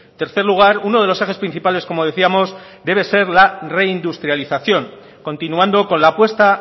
tercer lugar uno de los ejes principales como decíamos debe ser la reindustrialización continuando con la apuesta